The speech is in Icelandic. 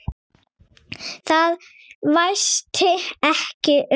Það væsti ekki um þær.